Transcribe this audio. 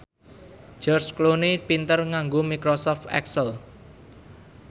George Clooney pinter nganggo microsoft excel